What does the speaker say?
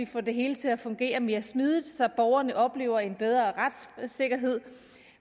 få det hele til at fungere mere smidigt så borgerne oplever en bedre retssikkerhed